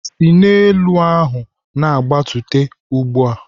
"Si n'elu ahụ na-agbatuo ugbu a!"